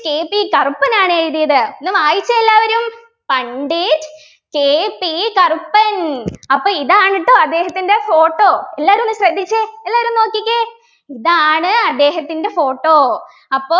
KP Karuppan ആണ് എഴുതിയത് ഒന്ന് വായിച്ചെ എല്ലാവരും പണ്ഡിറ്റ് KP കറുപ്പൻ അപ്പൊ ഇതാണ് ട്ടോ അദ്ദേഹത്തിൻ്റെ photo എല്ലാവരും ഒന്ന് ശ്രദ്ധിച്ചേ എല്ലാരും ഒന്ന് നോക്കിക്കെ ഇതാണ് അദ്ദേഹത്തിൻ്റെ photo അപ്പോ